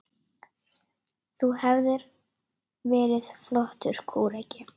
Þú hefðir verið flottur kúreki.